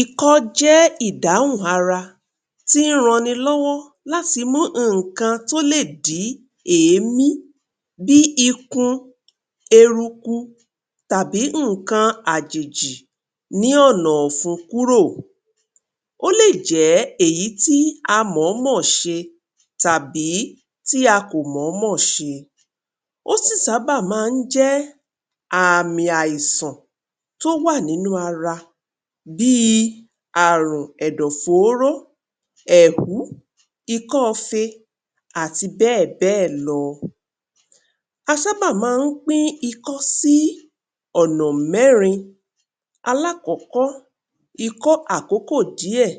Ìkọ́ jẹ́ ìdàún ara tí ń ràn ní lọ́wọ́ láti mú nǹkan tó lè dì ẹ̀mí bíi ìkún, ẹ̀rúkù tàbí nǹkan ajìjì ní ọ̀nà ọ̀fǔn kúrò. Ó lè jẹ́ èyí tí a mọ́mọ́ ṣe tàbí tí a kò mọ́mọ́ ṣe. Ó sì sábà máa ń jẹ́ àmì àìsàn tọ́ wa nínú ara bíi ààrùn ẹ̀dọ̀ fọ́ọ̀rọ̀, ẹ́hù, ìkọ̀fé àti bẹ́ẹ̀ bẹ́ẹ̀ lọ. A sábà máa ń pín ìkọ́ sí ọ̀nà mẹ́rin. Àkọ́kọ́: ìkọ́ àkọ́kọ́ díẹ̀.